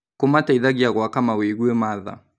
Kũmateithagia gwaka mawĩgwi ma tha.